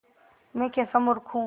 मैं कैसा मूर्ख हूँ